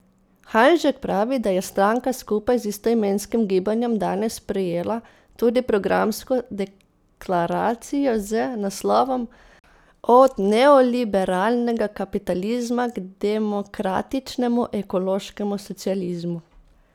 Hanžek pravi, da je stranka skupaj z istoimenskim gibanjem danes sprejela tudi programsko deklaracijo z naslovom Od neoliberalnega kapitalizma k demokratičnemu ekološkemu socializmu.